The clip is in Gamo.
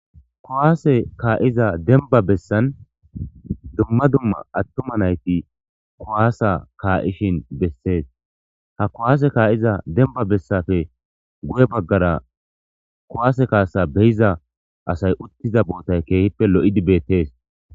kuwaase kaa'iza denba bessan dumma dumma attuma nayti kuwaasa kaa'ishin bessees ha kuwaase kaa'iza demba bessape guye baggara kowaase kaasa beyiza asay uttiza bootay keehippe lo'idi beettees